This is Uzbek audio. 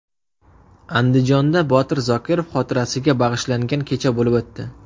Andijonda Botir Zokirov xotirasiga bag‘ishlangan kecha bo‘lib o‘tdi.